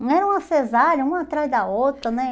Não era uma cesárea, uma atrás da outra, né?